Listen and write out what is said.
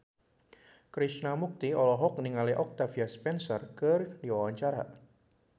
Krishna Mukti olohok ningali Octavia Spencer keur diwawancara